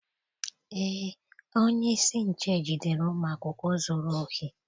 Eé, onyeisi nche jidere ụmụ akwụkwọ zuru ohi